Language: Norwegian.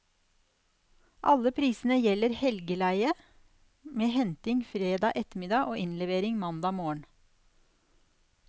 Alle prisene gjelder helgeleie, med henting fredag ettermiddag og innlevering mandag morgen.